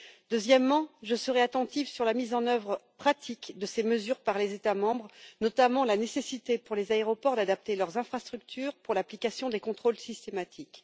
Deuxièmement, je serai attentive sur la mise en œuvre pratique de ces mesures par les États membres, notamment la nécessité, pour les aéroports, d'adapter leurs infrastructures pour l'application des contrôles systématiques.